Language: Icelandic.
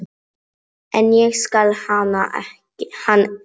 En ég skil hann ekki.